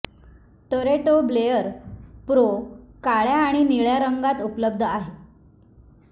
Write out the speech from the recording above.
Toretto Blare Pro काळ्या आणि निळ्या रंगात उपलब्ध आहे